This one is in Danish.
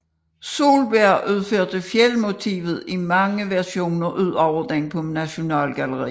Solberg udførte fjeldmotivet i mange versioner ud over den på Nasjonalgalleriet